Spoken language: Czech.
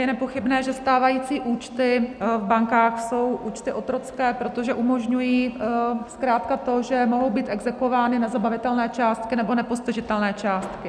Je nepochybné, že stávající účty v bankách jsou účty otrocké, protože umožňují zkrátka to, že mohou být exekuovány nezabavitelné částky nebo nepostižitelné částky.